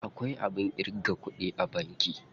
Akwai abin ƙirga kuɗi a banki.